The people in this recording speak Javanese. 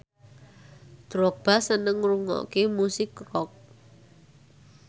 Drogba seneng ngrungokne musik rock